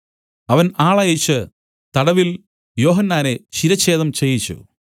അവൻ ആളയച്ച് തടവിൽ യോഹന്നാനെ ശിരച്ഛേദം ചെയ്യിച്ചു